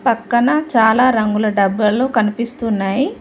పక్కన చాలా రంగుల డబ్బులు కనిపిస్తున్నాయి.